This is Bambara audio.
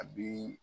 A bi